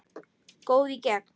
Góð í gegn.